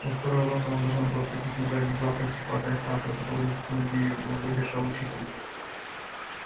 во второй урок она должна была прыгать на задних лапах и хватать сахар который высоко над её головой держал учитель